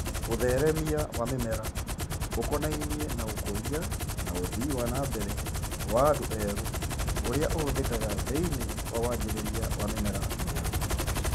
ũtheremia wa mĩmera ũkonainie na ũkũria na ũthii wana mbere wa andũ erũ ũrĩa ũhũthĩkaga thĩinĩ wa wanjĩrĩria wa mĩmera mĩerũ